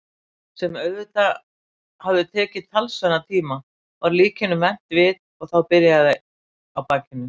sem auðvitað hafði tekið talsverðan tíma- var líkinu vent við og þá byrjað á bakinu.